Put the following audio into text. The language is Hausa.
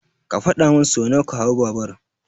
Ka faɗa min so nawa ka hau babur.